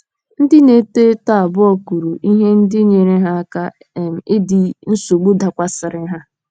Ndị na - eto eto abụọ kwuru ihe ndị nyeere ha aka um idi nsogbu dakwasịrị ha.